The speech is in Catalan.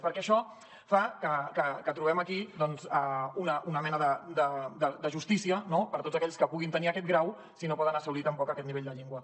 perquè això fa que trobem aquí doncs una mena de justícia no per a tots aquells que puguin tenir aquest grau si no poden assolir tampoc aquest nivell de llengua